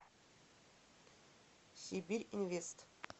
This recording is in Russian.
сибирьинвест